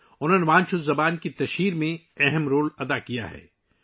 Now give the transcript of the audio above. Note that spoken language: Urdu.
انہوں نے وانچو زبان کے فروغ میں اہم کردار ادا کیا ہے